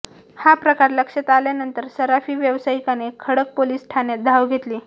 हा प्रकार लक्षात आल्यानंतर सराफी व्यवसायिकाने खडक पोलीस ठाण्यात धाव घेतली